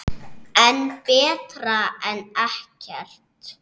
En betra en ekkert.